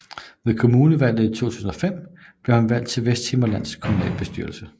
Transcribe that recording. Ved kommunalvalget i 2005 blev han valgt til Vesthimmerlands Kommunalbestyrelse